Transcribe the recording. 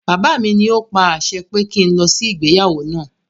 Bàbá mi ní o pa àṣẹ pé kí n lọ sí ìgbéyàwó náà.